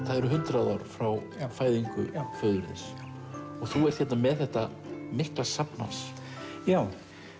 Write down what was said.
það eru hundrað ár frá fæðingu föður þíns já þú ert hérna með þetta mikla safn hans já